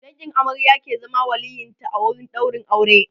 dangin amarya ke zama waliyyin ta a wurin ɗaurin aure